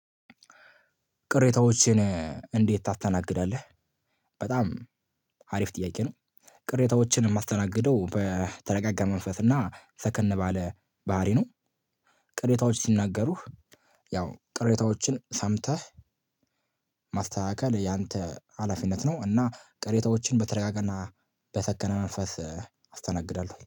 ቅሬታዎችን እንዴት ታስተናግዳለህ? በጣም አሪፍ ጥያቄ ነው። ቅሬታዎችን የማስተናግደው በተረጋጋ መንፈስ እና ሰከን ባለ ባህሪ ነው። ቅሬታዎች ሲነገሩህ። ያው ቅሬታዎችን ሰምተህ ማስተካከል ያንተ ሀላፊነት ነው። እና ቅሬታዎችን በተረጋጋና በሰከነ መንፈስ አስተናግዳለሁ